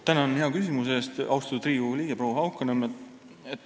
Tänan hea küsimuse eest, austatud Riigikogu liige proua Haukanõmm!